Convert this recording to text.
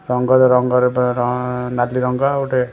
ରଙ୍ଗରେ ରଙ୍ଗରେ ବ ର ନାଲି ରଙ୍ଗ ଗୋଟେ--